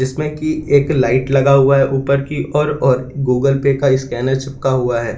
इसमें की एक लाइट लगा हुआ है ऊपर की ओर और गूगल पे का स्कैनर चिपका हुआ है।